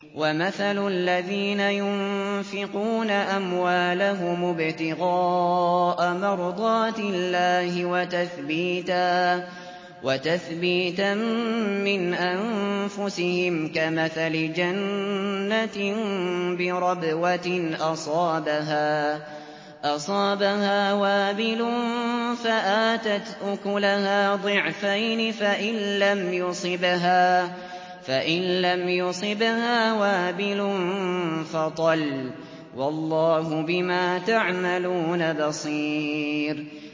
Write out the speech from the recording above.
وَمَثَلُ الَّذِينَ يُنفِقُونَ أَمْوَالَهُمُ ابْتِغَاءَ مَرْضَاتِ اللَّهِ وَتَثْبِيتًا مِّنْ أَنفُسِهِمْ كَمَثَلِ جَنَّةٍ بِرَبْوَةٍ أَصَابَهَا وَابِلٌ فَآتَتْ أُكُلَهَا ضِعْفَيْنِ فَإِن لَّمْ يُصِبْهَا وَابِلٌ فَطَلٌّ ۗ وَاللَّهُ بِمَا تَعْمَلُونَ بَصِيرٌ